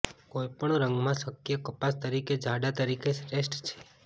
કોઈપણ રંગમાં શક્ય કપાસ તરીકે જાડા તરીકે શ્રેષ્ઠ છે